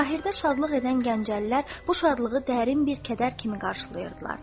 Zahirdə şadlıq edən Gəncəlilər bu şadlığı dərin bir kədər kimi qarşılayırdılar.